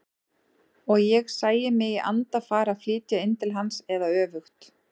Og ég sæi mig í anda fara að flytja inn til hans eða öfugt.